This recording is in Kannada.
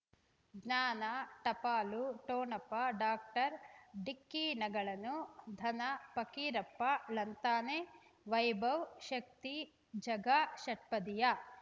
ಜ್ಞಾನ ಟಪಾಲು ಠೊಣಪ ಡಾಕ್ಟರ್ ಢಿಕ್ಕಿ ಣಗಳನು ಧನ ಪಕೀರಪ್ಪ ಳಂತಾನೆ ವೈಭವ್ ಶಕ್ತಿ ಝಗಾ ಷಟ್ಪದಿಯ